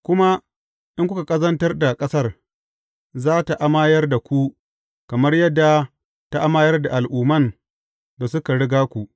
Kuma in kuka ƙazantar da ƙasar, za tă amayar da ku kamar yadda ta amayar da al’umman da suka riga ku.